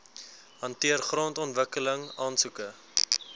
hanteer grondontwikkeling aansoeke